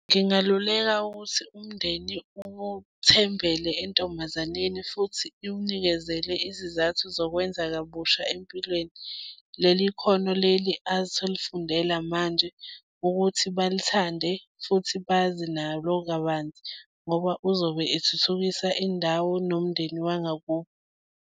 Ngingaluleka ukuthi umndeni uthembele entombazani futhi iwunikezele izizathu zokwenza kabusha empilweni. Leli khona leli azi ukuthi ulifundela manje ukuthi balithande futhi bazi nalo kabanzi ngoba uzobe ethuthukisa indawo nomndeni wangakubo.